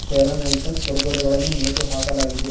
Fair and handsome ಕುರ್ಕುರೆಗಳನ್ನು ನೇತು ಹಾಕಲಾಗಿದೆ.